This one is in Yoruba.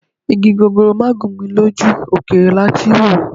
Igi gogoro máà gún mi lójú, òkèèrè lati ń wòó.